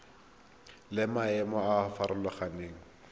le maemo a a farologaneng